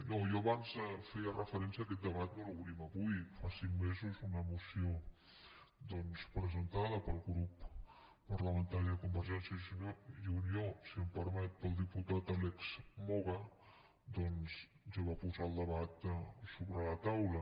no jo abans hi feia referència aquest debat no l’obrim avui fa cinc mesos una moció presentada pel grup parlamentari de convergència i unió si em permet pel diputat àlex moga doncs ja va posar el debat sobre la taula